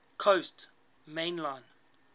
coast main line